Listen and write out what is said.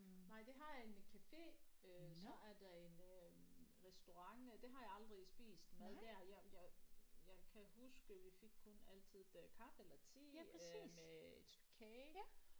Nej de har en café øh så er der en øh restaurant det har jeg aldrig spist mad der jeg jeg jeg kan huske vi fik kun altid det kaffe eller te øh med et stykke kage